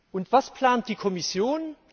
Und was plant die Kommission?